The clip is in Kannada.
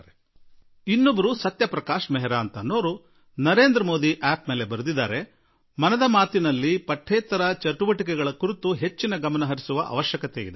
ಹಾಗೆಯೇ ಶ್ರೀಮಾನ್ ಸತ್ಯಪ್ರಕಾಶ್ ಮೆಹರಾ ಜಿ ಅವರು ನರೇಂದ್ರ ಮೋದಿ ಂಠಿಠಿನಲ್ಲಿ ಬರೆದಿದ್ದಾರೆ ಮನದ ಮಾತಿನಲ್ಲಿ ಪಠ್ಯೇತರ ಚಟುವಟಿಕೆಗಳ ಕಡೆ ಗಮನ ಕೇಂದ್ರೀಕರಿಸುವ ಅಗತ್ಯ ಇದೆ